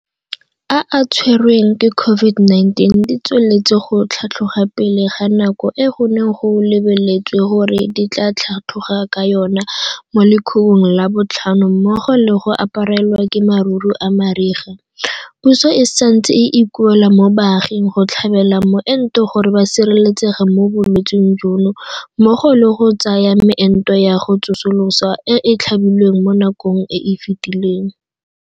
A a tshwerweng ke COVID-19 di tsweletse go tlhatlhoga pele ga nako e go neng go lebeletswe gore di tla tlhatlhoga ka yona mo lekhubung la botlhano mmogo le go aparelwa ke maruru a mariga, puso e santse e ikuela mo baaging go tlhabela moento gore ba sireletsege mo bolwetseng jono mmogo le go ya go tsaya meento ya go tsosolosa e e tlhabilweng mo nakong e e fetileng.